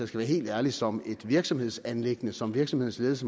skal være helt ærlig som et virksomhedsanliggende som virksomhedernes